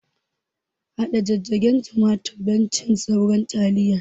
Haɗa jijjigen tumaturi don cin sauran taliyar